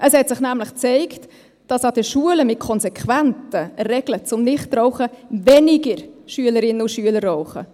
Es hat sich nämlich gezeigt, dass an den Schulen mit konsequenten Regeln zum Nichtrauchen weniger Schülerinnen und Schüler rauchen.